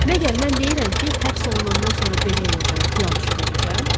Məgər mən deyirəm ki, həbs olunandan sonra belə edəcəm, filan işi görəcəm?